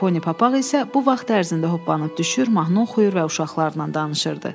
Poni Papaq isə bu vaxt ərzində hoppanıb düşür, mahnı oxuyur və uşaqlarla danışırdı.